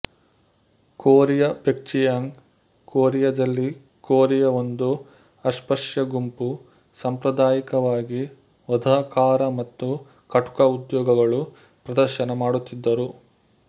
Korea Baekjeong ಕೊರಿಯಾದಲ್ಲಿ Korea ಒಂದು ಅಸ್ಪೃಶ್ಯ ಗುಂಪು ಸಾಂಪ್ರದಾಯಿಕವಾಗಿ ವಧಕಾರ ಮತ್ತು ಕಟುಕ ಉದ್ಯೋಗಗಳು ಪ್ರದರ್ಶನ ಮಾಡುತ್ತಿದ್ದರು